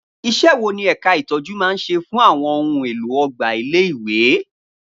Iṣẹ́ wo ni ẹ̀ka ìtọ́jú máa ń ṣe fún àwọn ohun èlò ọgbà ilé-ìwé?